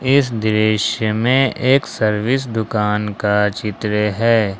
इस दृश्य में एक सर्विस दुकान का चित्र है।